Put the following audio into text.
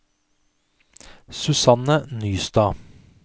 Susanne Nystad